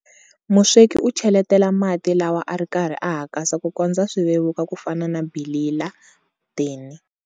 Musweki u cheletela mati lawa a ri karhi a hakasa ku kondza swi vevuka ku fana na bilila-dini.